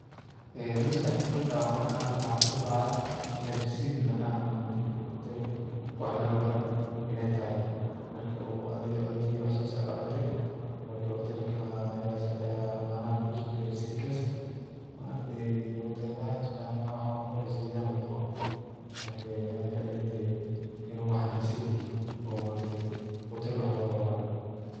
Ee MasQaxdey markan waxan AA arkoh, maxa kusodacaya Ina receip macanaha maargtay hootel wax laga cuunoh inaytahay marki oo adii cuntathi saas Aya cuuntay marka hooteelka macanaha kusugalesay gas maargtahay iyo hootelaha wax walbo marka Ani waxay ilatahay inu waxan receipt yahay oo maargtahay hootel wax loga cuunahay.